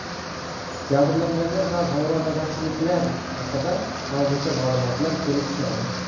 Jabrlanganlar va vayronagarchiliklar haqida hozircha ma’lumotlar kelib tushmadi.